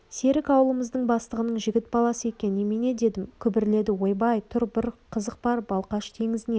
серік ауылымыздың бастығының жігіт баласы екен немене дедім күбірледі ойбай тұр бір қызық бар балқаш теңізінен